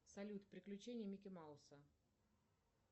салют приключения микки мауса